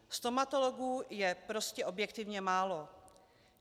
Stomatologů je prostě objektivně málo.